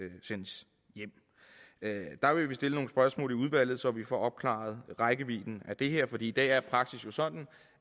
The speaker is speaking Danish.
sendes hjem der vil vi stille nogle spørgsmål i udvalget så vi får opklaret rækkevidden af det her for i dag er praksis jo sådan